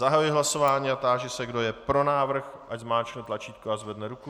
Zahajuji hlasování a táži se, kdo je pro návrh, ať zmáčkne tlačítko a zvedne ruku.